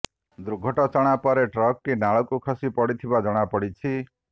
ଦୁର୍ଘଟଚଣା ପରେ ଟ୍ରକ୍ ଟି ନାଳକୁ ଖସି ପଡିଥିବା ଜଣାପଡିଛି